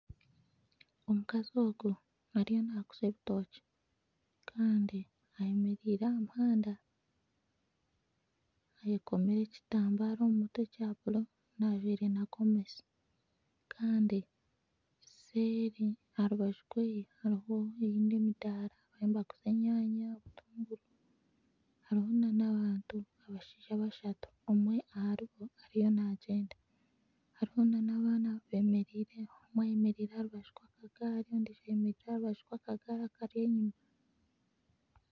Omukazi ogu ariyo naguza ebitookye Kandi ayemereire aha muhanda ayekomire ekitambaara omu mutwe ekya buru ajwaire na Gomesi Kandi nseeri aha rubaju rwe hariho nana ogundi omudaara nibaguza enyanya nana obutunguru hariho nana abantu abashaija bashatu omwe aharibo ariyo naagyenda hariho nana abaana bemereireho omwe ayemereire aharu baju rw'akagaari akari enyuma